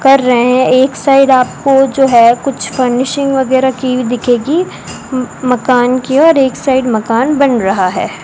कर रहे हैं एक साइड आपको जो है कुछ फर्निशिंग वगैरह की हुई दिखेगी मकान की और एक साइड मकान बन रहा है।